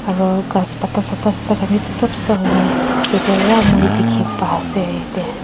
laka ghas pata sata sita khan bi choto choto huina yatae pa moi dikhipaase.